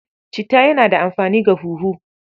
Citta yana da amfani ga huhu.